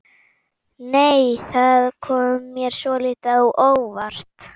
Nei! Það kom mér svolítið á óvart!